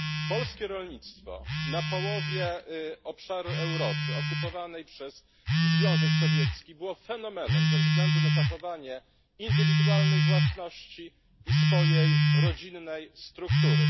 Polskie rolnictwo na połowie obszaru Europy okupowanej przez Związek Sowiecki było fenomenem ze względu na zachowanie indywidualnej własności i swojej rodzinnej struktury.